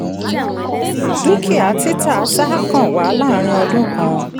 dúkìá títà sáà kan wà láàrín ọdún kan.